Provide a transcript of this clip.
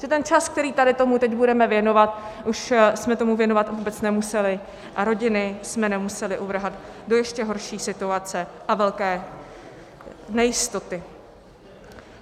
Že ten čas, který tady tomu teď budeme věnovat, už jsme tomu věnovat vůbec nemuseli a rodiny jsme nemuseli uvrhat do ještě horší situace a velké nejistoty.